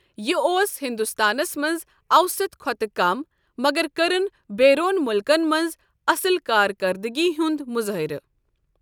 یہ اوس ہندوستانس منٛز اَوسَط کھۄتہٕ کم مگر کٔرن بیرون مُلکن منٛز اصل کارکردٕگی ہُنٛد مظٲہرٕ۔